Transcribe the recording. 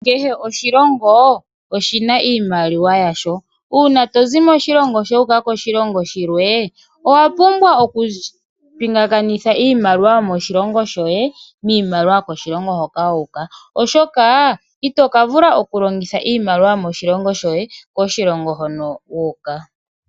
Kehe oshilongo oshina iimaliwa yasho uuna tozi moshilongo shoye wuuka koshilongo shilwe owa pumbwa oku pingakanitha Iimaliwa yomoshilongo shoye niimaliwa yomoshilongo hoka wuuka ,oshoka itoka vula oku longitha iimaliwa yomoshilongo shoye koshilongo hoka wuuka.